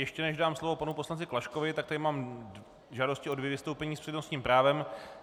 Ještě než dám slovo panu poslanci Klaškovi, tak tady mám žádosti o dvě vystoupení s přednostním právem.